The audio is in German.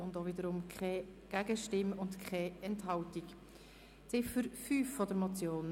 Es hat wiederum keine Gegenstimmen und keine Enthaltungen gegeben.